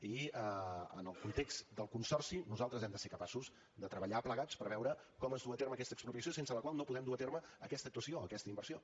i en el context del consorci nosaltres hem de ser capaços de treballar plegats per veure com es duu a terme aquesta expropiació sense la qual no podem dur a terme aquesta actuació aquesta inversió